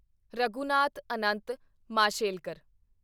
Raghunath Anant Mashelkar